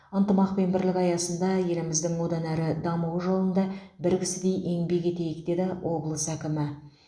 ынтымақ пен бірлік аясында еліміздің одан әрі дамуы жолында бір кісідей еңбек етейік деді облыс әкімі